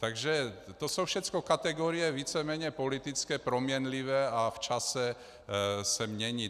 Takže to jsou všecko kategorie víceméně politické, proměnlivé a v čase se mění.